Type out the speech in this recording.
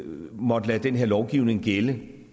måtte lade den her lovgivning gælde